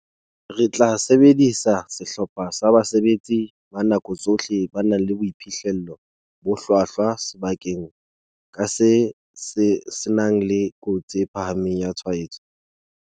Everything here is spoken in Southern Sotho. "Re tla sebedisa sehlopha sa basebetsi ba nako tsohle ba nang le boiphihlelo bo hlwahlwa sebakeng ka seng se nang le kotsi e phahameng ya tshwaetso."